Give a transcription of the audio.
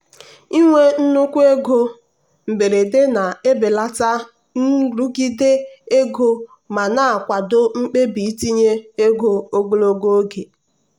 inwe nnukwu ego mberede na-ebelata nrụgide ego ma na-akwado mkpebi itinye ego ogologo oge.